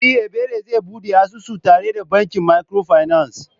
E! Ebere zai bude asusu tare da bankin micro finance.